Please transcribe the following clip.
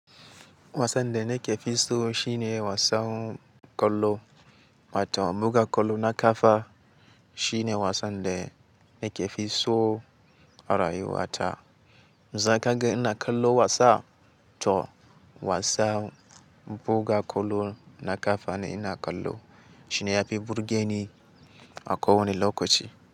Wasan da nake fi so shine wasan ƙwallo, waton buga ƙwallo na ƙafa shine wasan da nake fi so a rayuwa ta. Za kagan ina kallo wasa, to wasan buga ƙwallo na ƙafa ne ina kallo. Shi ne ya fi burge ni a kowane lokaci.